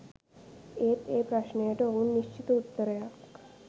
ඒත් ඒ ප්‍රශ්නයට ඔවුන් නිශ්චිත උත්තරයක්